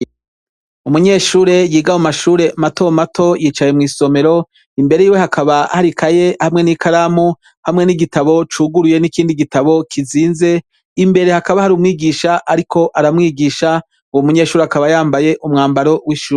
Umunyeshure yiga mu mashure matomato yicaye mw'isomero ,imbere yiwe hakaba hari ikaye hamwe n'ikaramu hamwe n'igitabo cuguruye n'ikindi gitabo kizinze. Imbere hakaba hari umwigisha ariko aramwigisha , uwo munyeshure akaba yambaye umwambaro w'ishure.